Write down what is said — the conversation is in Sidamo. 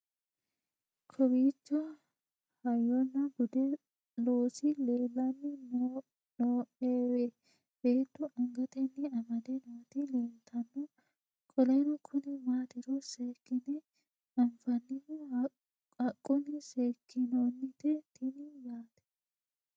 kowiicho hayyonna budu loosi leellanni nooewe beettu angatenni amade nooti leeltanno qoleno kuni maatiro seekkine anfannihu haqqunni seekkinoonite tini yaate